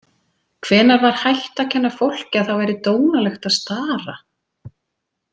Hvenær var hætt að kenna fólki að það væri dónalegt að stara?